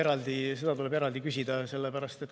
Jah, seda tuleb eraldi küsida.